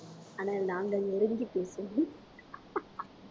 ஆனால் நாங்கள் நெருங்கி பேசுவோம்